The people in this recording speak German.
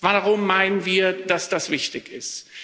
Warum meinen wir, dass das wichtig ist?